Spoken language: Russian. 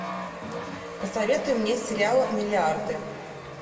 посоветуй мне сериал миллиарды